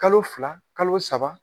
Kalo fila, kalo saba.